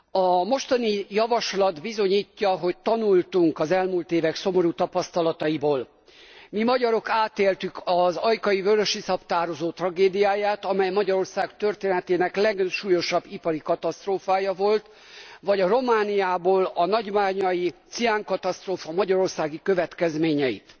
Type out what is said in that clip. A mostani javaslat bizonyítja, hogy tanultunk az elmúlt évek szomorú tapasztalataiból. Mi, magyarok átéltük az ajkai vörösiszap tározó tragédiáját, amely Magyarország történetének legsúlyosabb ipari katasztrófája volt, vagy a romániai nagybányai ciánkatasztrófa magyarországi következményeit.